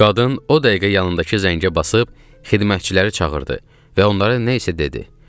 Qadın o dəqiqə yanındakı zəngə basıb xidmətçiləri çağırdı və onlara nə isə dedi.